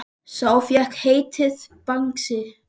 Sá fékk heitið Bangsi.